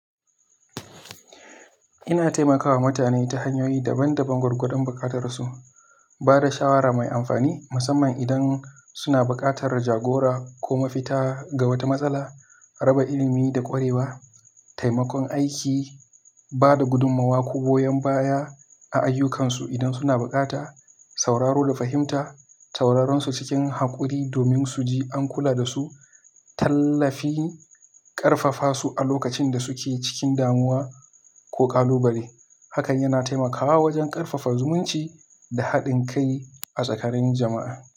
Ina taimakawa mutane ta hanyoyi daban-daban gwargwadon buƙatarsu, ba da shawara mai amfani, musamman idan suna buƙatar jagora ko mafita ga wata matsala, raba ilimi da ƙwarewa, taimakon aiki, ba da gudummawa ko goyon baya a ayyukansu idan suna buƙata, sauraro da fahimta, sauraronsu cikin haƙuri domin su ji an kula da su, tallafi ƙarfafasu a lokacin da suke cikin damuwa ko ƙalubale. Hakan yana taimakawa wajen ƙarfafa zumunci da haɗin kai a tsakanin jama'a.